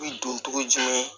U bi don cogo di